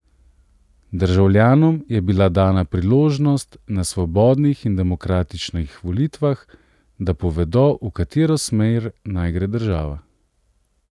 Državljanom je bila dana priložnost na svobodnih in demokratičnih volitvah, da povedo, v katero smer naj gre država.